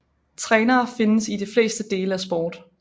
Trænere findes i de fleste dele af sport